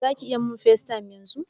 Zaki iya min FaceTime yanzun?